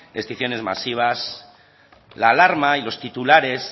extinciones masivas la alarma y los titulares